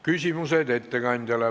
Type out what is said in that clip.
Küsimused ettekandjale.